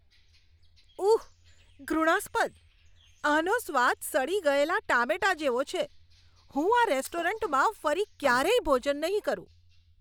ઉહ! ઘૃણાસ્પદ! આનો સ્વાદ સડી ગયેલા ટામેટાં જેવો છે, હું આ રેસ્ટોરન્ટમાં ફરી ક્યારેય ભોજન નહીં કરું.